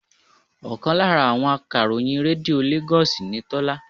Ọkàn lára àwọn akàròyìn Rédíò Lagos ni Tola